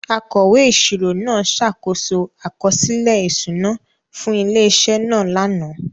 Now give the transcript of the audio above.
Akọ̀wé ìṣirò náà ṣàkóso àkọsílẹ̀ ìṣúná fún ilé-iṣẹ́ náà lánàá.